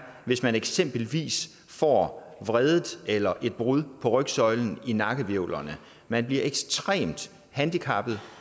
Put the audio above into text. hvis man eksempelvis får vredet eller får et brud på rygsøjlen i nakkehvivlerne man bliver ekstremt handicappet